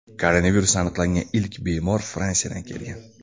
Koronavirus aniqlangan ilk bemor Fransiyadan kelgan.